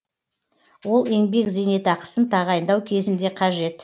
л еңбек зейнетақысын тағайындау кезінде қажет